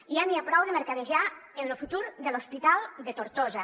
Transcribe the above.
ja n’hi ha prou de mercadejar amb lo futur de l’hospital de tortosa